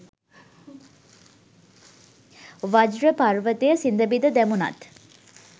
වජ්ර පර්වතය සිඳ බිඳ දැමුණත්